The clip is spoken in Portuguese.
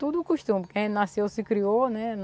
Tudo o costume, quem nasceu se criou, né?